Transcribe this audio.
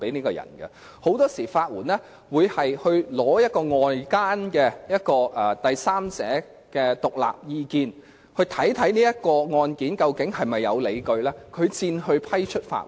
法援署很多時候會先聽取外間的第三者的獨立意見，研究案件是否有理據，然後才會批出法援。